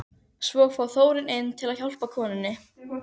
Svo fór Þórunn inn til að hjálpa konunni.